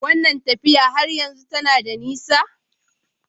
Wannan tafiya har yanzu tana da nisa?